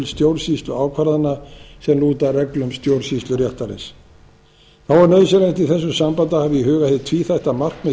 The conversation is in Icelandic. stjórnsýsluákvarðana sem lúta að reglum stjórnsýsluréttarins þá er nauðsynlegt að hafa í huga í þessu sambandi hið tvíþætta markmið